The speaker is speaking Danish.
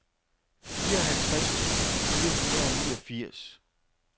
fireoghalvtreds tusind fire hundrede og niogfirs